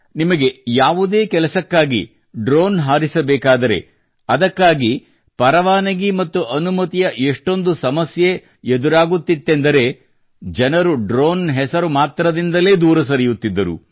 ನಿಮಗೆ ಯಾವುದೇ ಕೆಲಸಕ್ಕಾಗಿ ಡ್ರೋನ್ ಹಾರಿಸಬೇಕಾದರೆ ಅದಕ್ಕಾಗಿ ಪರವಾನಗಿ ಮತ್ತು ಅನುಮತಿಯ ಎಷ್ಟೊಂದು ಸಮಸ್ಯೆ ಎದುರಾಗುತ್ತಿದ್ದೆಂದರೆ ಜನರು ಡ್ರೋನ್ ಹೆಸರು ಮಾತ್ರದಿಂದಲೇ ದೂರ ಸರಿಯುತ್ತಿದ್ದರು